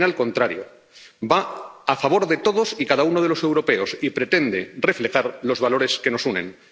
más bien al contrario, va a favor de todos y cada uno de los europeos y pretende reflejar los valores que nos unen.